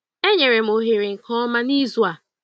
Enyere m ohere nke ọma n'izu a.